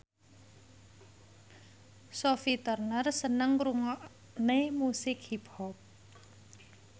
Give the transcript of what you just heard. Sophie Turner seneng ngrungokne musik hip hop